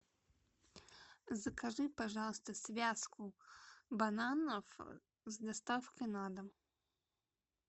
закажи пожалуйста связку бананов с доставкой на дом